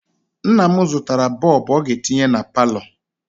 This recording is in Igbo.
Nna m zụtara bọọbụ ọ ga-etinye na palọ.